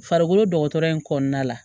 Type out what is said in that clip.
Farikolo dɔgɔtɔrɔya in kɔnɔna la